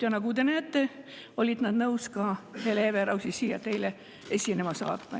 Ja nagu te näete, olid nad nõus Hele Everausi siia teile esinema saatma.